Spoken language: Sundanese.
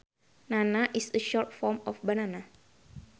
Nana is a short form of banana